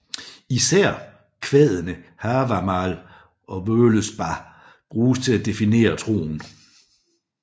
Især kvadene Havamál og Völuspá bruges til at definere troen